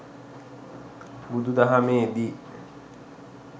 බුදු දහමේ දී